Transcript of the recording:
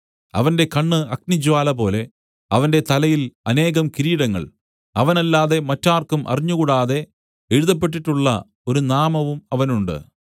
അവന്റെ കണ്ണ് അഗ്നിജ്വാലപോലെ അവന്റെ തലയിൽ അനേകം കിരീടങ്ങൾ അവനല്ലാതെ മറ്റാർക്കും അറിഞ്ഞുകൂടാതെ എഴുതപ്പെട്ടിട്ടുള്ള ഒരു നാമവും അവനുണ്ട്